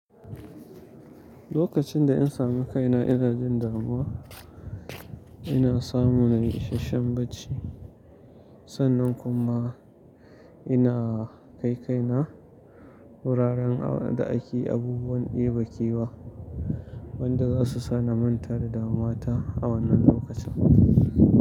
Lokacin da in sami kaina ina jin damuwa, ina samu na yi ishashshen bacci. Sannan kuma ina kai kai na wuraren da ake abubuwan debe kewa, wanda za su sa na manta da damuwa ta a wannan lokacin.